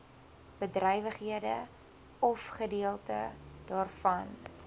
bedrywighede ofgedeelte daarvan